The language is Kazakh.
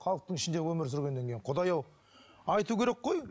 халықтың ішінде өмір сүргеннен кейін құдай ау айту керек қой